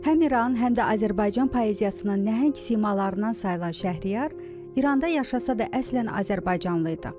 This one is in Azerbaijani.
Həm İran, həm də Azərbaycan poeziyasının nəhəng simalarından sayılan Şəhriyar İranda yaşasa da əslən azərbaycanlı idi.